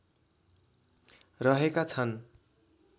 रहेका छन्